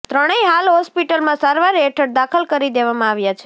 ત્રણેય હાલ હોસ્પિટલમાં સારવાર હેઠળ દાખલ કરી દેવામાં આવ્યા છે